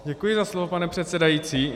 Děkuji za slovo, pane předsedající.